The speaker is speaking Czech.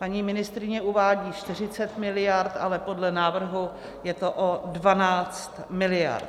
Paní ministryně uvádí 40 miliard, ale podle návrhu je to o 12 miliard.